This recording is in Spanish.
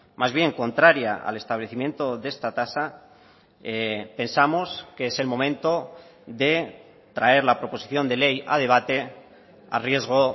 más bien contraria al establecimiento de esta tasa pensamos que es el momento de traer la proposición de ley a debate a riesgo